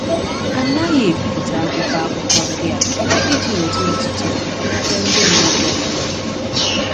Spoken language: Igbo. A naghị ebipụta akwụkwọ akụkọ ndị a iji weta otuto n’ebe ndị mmadụ ọ bụla nọ.